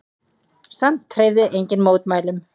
Samt hreyfði enginn mótmælum.